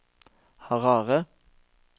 Harare